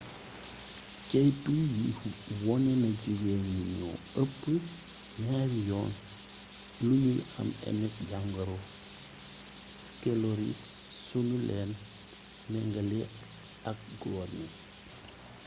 ceytu yi wone na jigéeñ ñi ñoo ëpp ñaari yoon lu ñuy am ms jàngoro skeloris su nu leen mengalee ak góor ñi